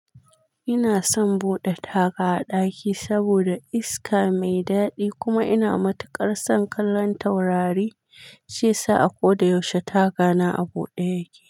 Ina son bude taga a daki saboda iska mai dadi kuma ina matukar son kallon taurari, shi yasa a koda yaushe taga na a buɗe yake.